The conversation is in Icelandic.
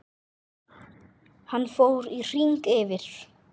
Hann fór í hring yfir